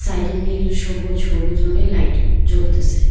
সাইডে নীল সবুজ হলুদ রঙের লাইট জ্বলতেসে।